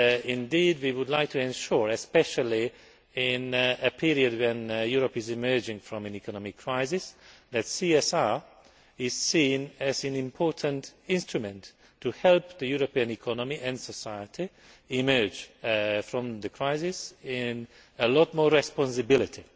Indeed, we would like to ensure, especially in a period when Europe is emerging from an economic crisis, that CSR is seen as an important instrument to help the European economy and society emerge from the crisis with a lot more responsibility.